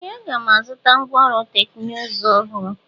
Ee! A ga-azụta ngwá ọrụ teknụzụ ọhụrụ.